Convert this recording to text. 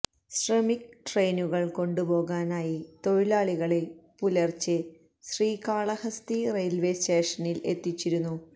ശ്രമിക് ട്രെയിനുകളിൽ കൊണ്ടുപോകാനായി തൊഴിലാളികളെ പുലർച്ചെ ശ്രീകാളഹസ്തി റെയിൽവേ സ്റ്റേഷനിൽ എത്തിച്ചിരുന്നു